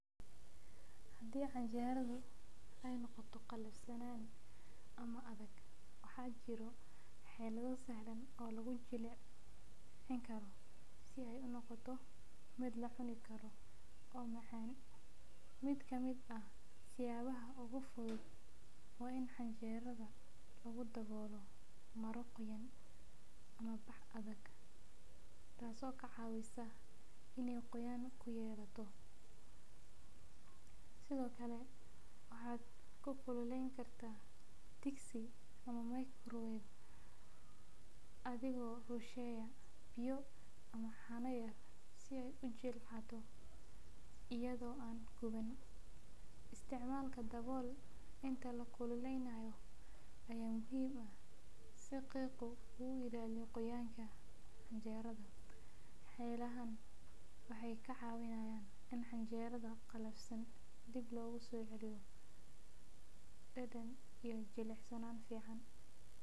Hadii canjeradu ee noqoto qalifsanan ama adag wax yala sahlan oo lagu jilcin karo si ee u noqoto miid la cuni karo oo macan miid ka miid ah miid ogu fuudud waa on canjeraadu lagu dawolo mara qoyan, taso ka cawineysa in ee qoyama ku yelato, sithokale waxaa ku kululen kartaa digsi athigo kushuwaya biyo yar ama cano si ee u jilacdo iyada oo an guwanin, istmalka dawol inta lakululeynayo aya muhiim ah si qoyanka u ilaliyo waxee ka cawinayan in can jeradha qalifsan dadan iyo jilicsanan iskubadsho.